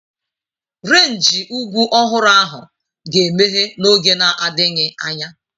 Renji ugwu ọhụrụ ahụ ga-emeghe n'oge na-adịghị anya.